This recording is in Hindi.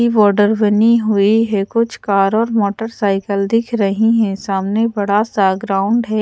बॉर्डर बनी हुई है कुछ कार और मोटरसाइकिल दिख रही हैं सामने बड़ा सा ग्राउंड है।